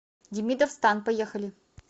демидов стан поехали